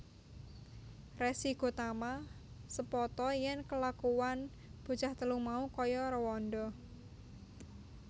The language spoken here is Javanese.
Resi Gotama sepata yèn kelakuwan bocah telu mau kaya réwanda